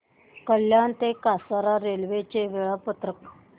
कल्याण ते कसारा रेल्वे चे वेळापत्रक